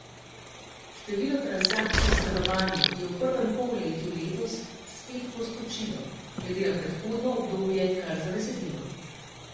Število transakcij s stanovanji je v prvem polletju letos spet poskočilo, glede na predhodno obdobje kar za desetino.